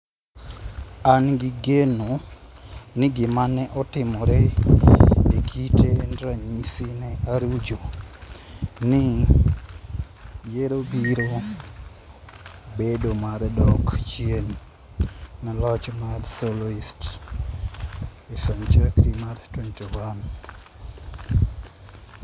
An gi geno ni gima ne otimore Okite en ranyisi ne Arujo, ni yiero biro bedo mar dok chien ne loch mar Socialist e senchari mar 21 #ArujoIvoyó2017